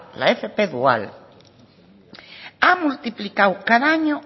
la fp dual ha multiplicado cada año